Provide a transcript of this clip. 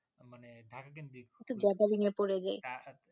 মানে ঢাকা কেন্দ্রিক তার